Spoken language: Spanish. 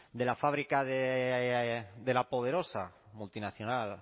de la fábrica de la poderosa multinacional